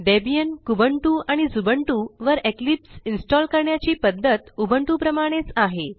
Debian Kubuntu आणि Xubuntu वर Eclipse install करण्याची पध्दत उबुंटू प्रमाणेच आहे